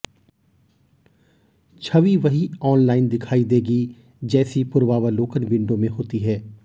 छवि वही ऑनलाइन दिखाई देगी जैसा पूर्वावलोकन विंडो में होती है